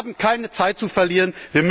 Wir haben keine Zeit zu verlieren.